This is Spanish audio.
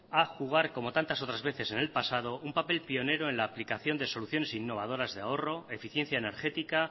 a jugar como tantas otras veces en el pasado un papel pionero en la aplicación de soluciones innovadoras de ahorro eficiencia energética